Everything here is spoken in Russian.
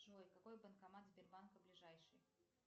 джой какой банкомат сбербанка ближайший